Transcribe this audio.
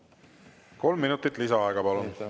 Kolm minutit lisaaega, palun!